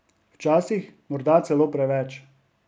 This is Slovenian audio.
Včasih morda celo preveč.